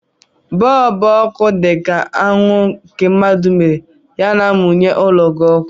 Bọlbụ ọkụ dị ka anwụ nke mmadụ mere, ha na-amụnye ụlọ gị ọkụ.